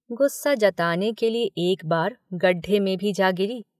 गुस्सा जताने के लिए एक बार गड्ढे में भी जा गिरी।